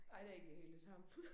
Nej det da ikke lige helt det samme